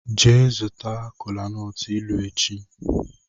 Jee zuta kolanut ilu echi!